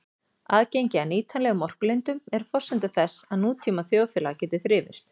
Aðgengi að nýtanlegum orkulindum er forsenda þess að nútíma þjóðfélag geti þrifist.